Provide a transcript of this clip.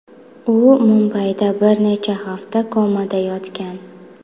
U Mumbayda bir necha hafta komada yotgan.